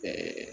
Ɛɛ